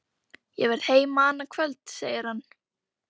Ég verð heima annað kvöld, segir hann.